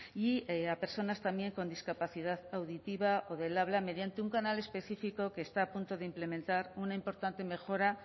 y a personas también con discapacidad auditiva o del habla mediante un canal específico que está a punto de implementar una importante mejora